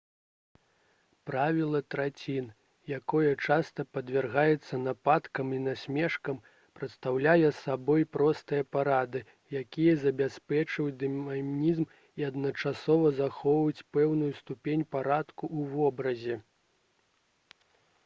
правіла трацін якое часта падвяргаецца нападкам і насмешкам прадстаўляе сабой простыя парады якія забяспечваюць дынамізм і адначасова захоўваюць пэўную ступень парадку ў вобразе